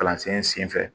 Kalansen senfɛ